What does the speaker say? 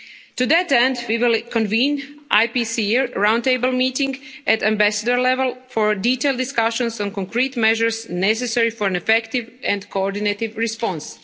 To that end, we will convene an IPCR round table meeting at ambassador level for detailed discussions on concrete measures necessary for an effective and coordinated response.